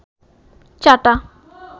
চাটা